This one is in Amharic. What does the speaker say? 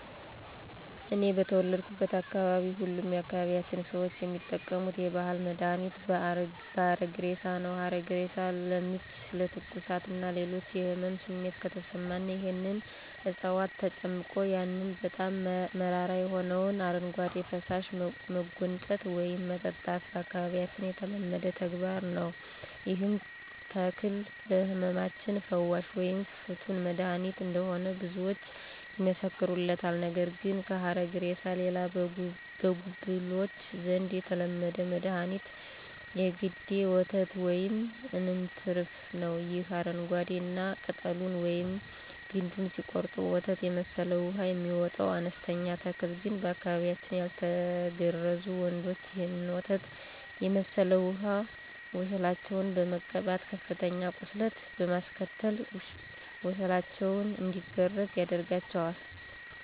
እኔ በተወለድኩበት አካባቢ ሁሉም የአካባቢያችን ሰዎች የሚጠቀሙት የባህል መድሀኒት ሀረግሬሳ ነው። ሀረግሬሳ ለምች፣ ለትኩሳት እና ሌሎች የህመም ስሜት ከተሰማን ይህንን ዕጽዋት ጨምቀን ያንን በጣም መራራ የሆነውን አረጓዴ ፈሳሽ መጎንጨት ወይም መጠጣት በአካባቢያችን የተለመደ ተግባር ነዉ። ይህም ተክል ለህመማችን ፈዋሽ ወይም ፍቱን መድሐኒት እንደሆነ ብዙዎች ይመሰክሩለታል። ነገር ግን ከሀረግሬሳ ሌላ በጉብሎች ዘንድ የተለመደ መድኋኒት የገዴ ወተት ወይም አንትርፋ ነው። ይህ አረንጓዴ እና ቅጠሉን ወይም ግንዱን ሲቆረጥ ወተት የመሰለ ውሃ የሚወጣው አነስተኛ ተክል ግን በአካባቢያችን ያልተገረዙ ወንዶች ይህንን ወተት የመሠለ ውሃ ወሸላቸውን በመቀባት ከፍተኛ ቁስለት በማስከተል ወሸላቸው እንዲገረዝ ያደርጋቸዋል።